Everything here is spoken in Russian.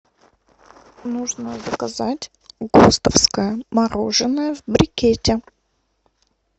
нужно заказать гостовское мороженое в брикете